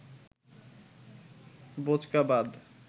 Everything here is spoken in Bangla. বোঁচকা বাঁধ